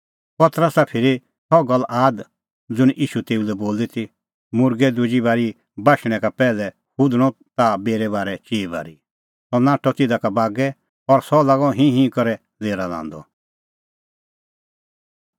पतरसा फिरी सह गल्ल आद ज़ुंण ईशू तेऊ लै बोली ती मुर्गै दुजी बारी बाशणैं का पैहलै हुधणअ ताह मेरै बारै चिई बारी सह नाठअ तिधा का बागै और सह लागअ हिंह करै लेरा लांदअ